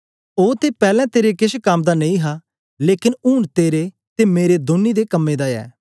ओ ते पैलैं तेरे केछ कम दा नेई हा लेकन ऊन तेरे ते मेरे दौनी दे मते कम दा ऐ